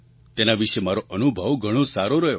તેના વિશે મારો અનુભવ ઘણો સારો રહ્યો